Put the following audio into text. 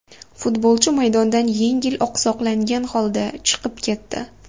Futbolchi maydondan yengil oqsoqlangan holda chiqib ketdi.